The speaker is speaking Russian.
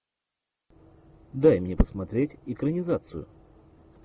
дай мне посмотреть экранизацию